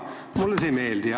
Mulle see ei meeldi.